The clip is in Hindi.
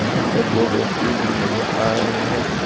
यहां पर दो व्यक्ति भी नजर आ रहे हैं।